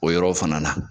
O yɔrɔ fana na